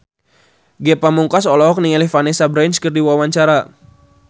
Ge Pamungkas olohok ningali Vanessa Branch keur diwawancara